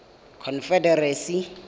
confederacy